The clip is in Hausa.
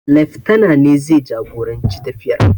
Leftana ne zai jagoranci tafiyar.